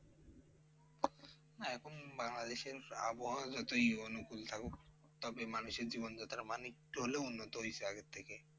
না এখন বাংলাদেশের আবহওয়া যতই অনুকূল থাকুক, তবে মানুষের জীবনযাত্রার মান একটু হলেও উন্নত হইসে আগের থেকে।